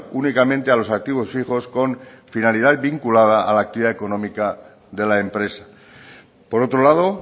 únicamente a los activos fijos con finalidad vinculada a la actividad económica de la empresa por otro lado